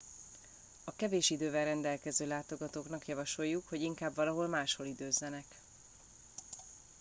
a kevés idővel rendelkező látogatóknak javasoljuk hogy inkább valahol máshol időzzenek